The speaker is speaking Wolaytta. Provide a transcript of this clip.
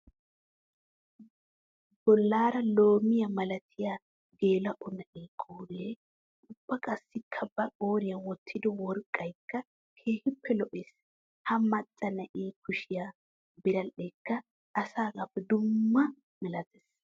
Bollara loomiya malattiya geela'o na'e qoore ubba qassikka ba qooriya wottiddo worqqaykka keehippe lo'ees. Ha maca na'e kushiya biradhdhekka asaagappe dumma malatees.